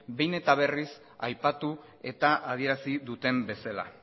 behin eta berriz aipatu eta adierazi duten bezala